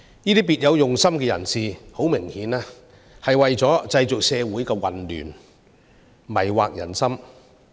這些別有用心的人士，很明顯是為了製造社會混亂，迷惑人心。